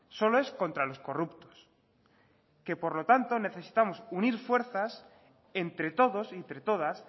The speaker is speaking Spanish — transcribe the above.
solo es contra los corrupto por lo tanto necesitamos unir fuerzas entre todos y entre todas